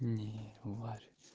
ниварь